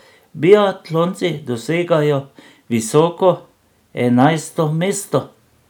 Biatlonci dosegajo visoko enajsto mesto.